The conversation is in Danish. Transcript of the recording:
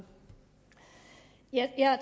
jeg